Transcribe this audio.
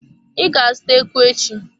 I ga-azụta eku echi.